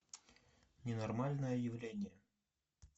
ненормальное явление